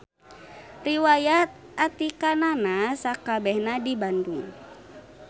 Riwayat atikanana sakabehna di Bandung.